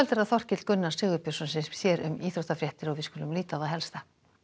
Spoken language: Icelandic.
Þorkell Gunnar Sigurbjörnsson sér um íþróttafréttir kvöldsins við skulum líta á það helsta